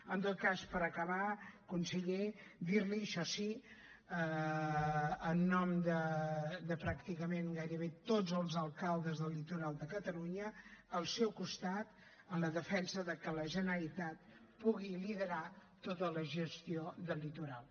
en tot cas per acabar conseller dir li això sí en nom de pràcticament gairebé tots els alcaldes del litoral de catalunya al seu costat en la defensa que la generalitat pugui liderar tota la gestió del litoral